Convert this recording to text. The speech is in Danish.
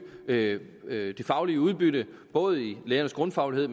det faglige udbytte både i lærernes grundfaglighed